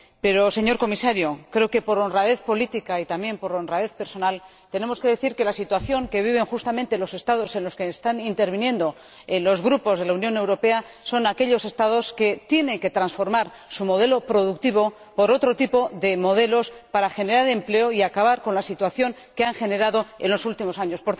Pero, señor Comisario, creo que, por honradez política y también por honradez personal, tenemos que decir que la situación que viven justamente los Estados de la Unión Europea de que proceden quienes están interviniendo son aquellos Estados que tienen que sustituir su modelo productivo por otro tipo de modelo para generar empleo y acabar con la situación que se ha generado en los últimos años.